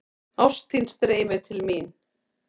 Ást þín streymir til mín.